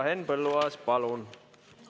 Henn Põlluaas, palun!